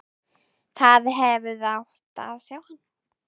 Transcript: Þið hefðuð átt að sjá hann!